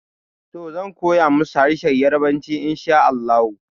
Toh, zan koya musu harshen yarbanci inshaAllahu